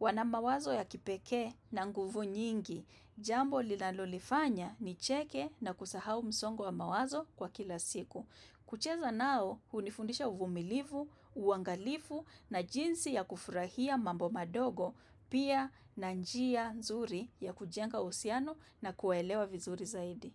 Wanamawazo ya kipekee na nguvu nyingi. Jambo linalolifanya ni cheke na kusahau msongo mawazo kwa kila siku. Kucheza nao, hunifundisha uvumilivu, uangalifu na jinsi ya kufurahia mambo madogo, pia na njia nzuri ya kujenga uhusiano na kuelewa vizuri zaidi.